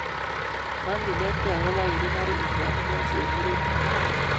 Onginerkei agobo urinary incontinence en murenik